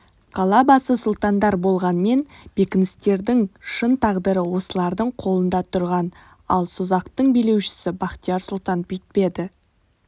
қала басы сұлтандар болғанмен бекіністердің шын тағдыры осылардың қолында тұрған ал созақтың билеушісі бахтияр сұлтан бүйтпеді